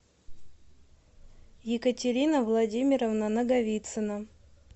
екатерина владимировна наговицына